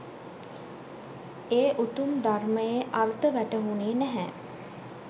ඒ උතුම් ධර්මයේ අර්ථ වැටහුනේ නැහැ.